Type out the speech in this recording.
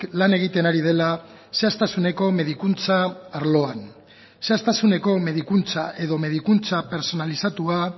lan egiten ari dela zehaztasuneko medikuntza arloan zehaztasuneko medikuntza edo medikuntza pertsonalizatua